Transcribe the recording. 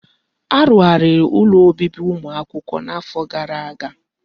Arugharị ụlọ obibi ụmụ akwụkwọ n'afọ gara aga.